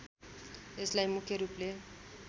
यसलाई मुख्य रूपले